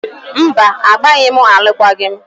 Mba, agbaghị m alụkwaghị m